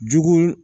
Jugu